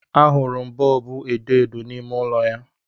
Ahụrụ m bọọbụ edo edo n'ime ụlọ ya